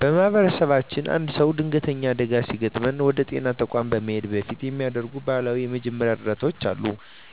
በማኅበረሰባችን አንድ ሰው ድንገተኛ አደጋ ሲገጥመው ወደ ጤና ተቋም ከመሄዱ በፊት የሚደረጉ ባህላዊ የመጀመሪያ እርዳታዎች አሉ።